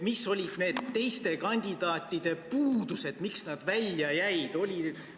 Mis olid teiste kandidaatide puudused, miks nemad välja jäid?